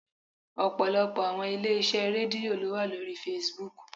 Ọ̀pọ̀lọpọ̀ àwọn ilé iṣẹ́ Rédíò ló wà lórí Facebook.